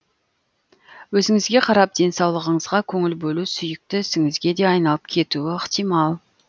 өзіңізге қарап денсаулығыңызға көңіл бөлу сүйікті ісіңізге де айналып кетуі ықтимал